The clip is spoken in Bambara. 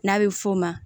N'a bɛ f'o ma